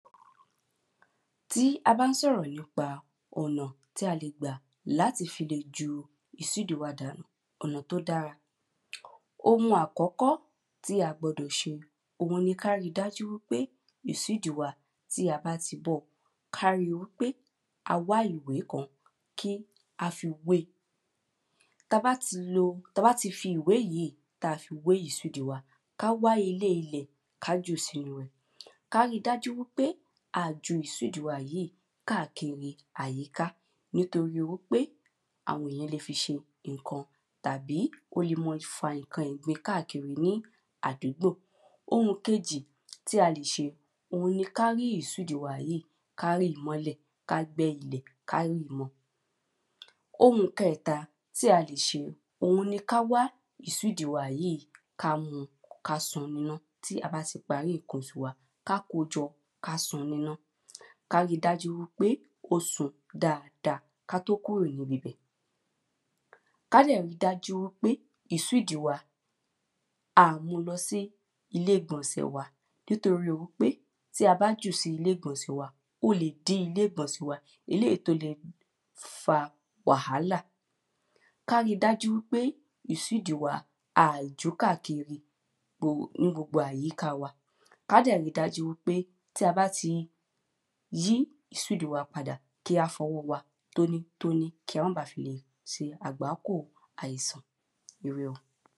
Tí a bá n so̩rò̩ nípa ò̩nà tí a lè gbà láti fi lè ju ìsídì wa dànù, ò̩nà tó da. um Ohun àkó̩kó̩ tí a gbo̩dò̩ s̩e, òhun ni ká ri dájú wípé, ìsídì wa, tí a bá ti bó̩, ká ri wípé a wá ìwé kan kí a fi wée. Tabá ti lo, tabá ti fi ìwé yì tí a fi wé ìsídì wa, ká wá ilé ilè̩, ká jùú sínú è̩. Ká ri dájú wípé a à ju ìsídì wa yìi káàkiri àyiká, nítorí wípé àwo̩n eyàn ń le fi s̩e ǹkan tàbí o lè má a fa ǹkan ìgbin káàkiri ní àdúgbò. Ohùn kejì tí a lè s̩e, òhun ni ká rí ìsídì wa yì, ká rì mo̩lè̩, ká gbé̩ ilè̩, ká rì mo̩. Ohùn ke̩è̩ta tí a lè s̩e, òhun ni ká wá ìsídì wa yì, ká mu, ká sun nínu iná. Tí a bá ti parí ǹkan osù wa, ká kojo̩, ká sun nínu iná, ká ri dájú wípé kó sun dáadáaa ká tó kúrò ní bibè̩. Kádè̩ ri dájú wípé ìsídì wa a à mulo̩ sí ilé ìgbò̩nsè̩ wa, nítoríi wípé tí a bá jù sí ilé ìgbò̩nsè̩ wa, o lè dí ilé ìgbò̩nsè̩ wa, eléyì tó le fa wàhálà. Ká ri dájú wípé ìsídì wa, a à jù káàkiri gbo ní gbogbo àyiká wa, ká dè̩ ri dájú wípé tí a bá ti yí ìsídì wa padà, kí á fo̩wó̩ wa tóní tóní kí a má ba fi lè se àgbákò àìsàn. Íré o!